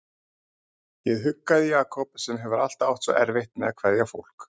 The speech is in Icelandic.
Ég huggaði Jakob sem hefur alltaf átt svo erfitt með að kveðja fólk.